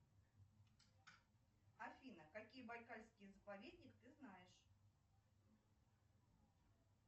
афина какие байкальские заповедник ты знаешь